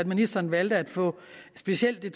ministeren valgte at få specielt det